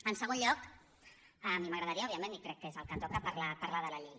en segon lloc a mi m’agradaria òbviament i crec que és el que toca parlar de la llei